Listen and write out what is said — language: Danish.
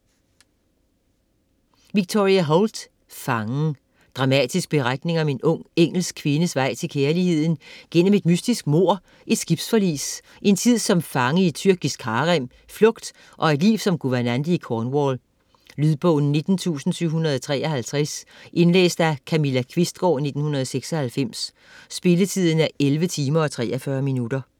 Holt, Victoria: Fangen Dramatisk beretning om en ung engelsk kvindes vej til kærligheden gennem et mystisk mord, et skibsforlis, en tid som fange i et tyrkisk harem, flugt og et liv som guvernante i Cornwall. Lydbog 19753 Indlæst af Camilla Qvistgaard, 1996. Spilletid: 11 timer, 43 minutter.